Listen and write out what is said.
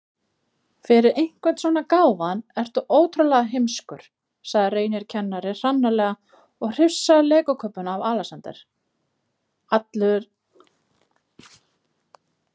Ef tíðni þess er könnuð kemur í ljós að sumar tegundir stranda oftar en aðrar.